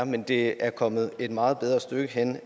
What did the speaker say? men det er kommet et meget bedre sted hen